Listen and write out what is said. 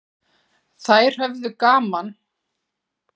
Þær höfðu líka gaman af að heimsækja sveitungana.